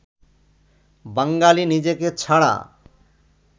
বাঙালি নিজেকে ছাড়া